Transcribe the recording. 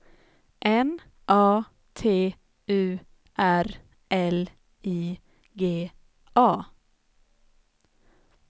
N A T U R L I G A